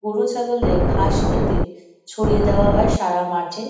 গরু ছাগলদের ঘাস খেতে ছড়িয়ে দেওয়া হয় সারা মাঠে।